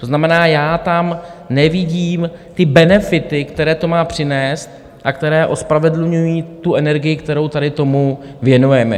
To znamená, já tam nevidím ty benefity, které to má přinést a které ospravedlňují tu energii, kterou tady tomu věnujeme.